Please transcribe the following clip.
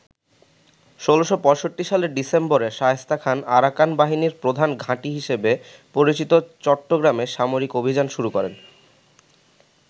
১৬৬৫ সালের ডিসেম্বরে শায়েস্তা খান আরাকান বাহিনীর প্রধান ঘাঁটি হিসেবে পরিচিত চট্টগ্রামে সামরিক অভিযান শুরু করে।